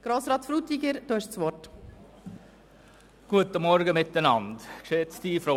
Grossrat Frutiger, Sie haben das Wort.